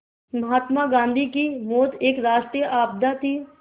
महात्मा गांधी की मौत एक राष्ट्रीय आपदा थी